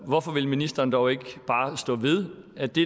hvorfor vil ministeren dog ikke bare stå ved at det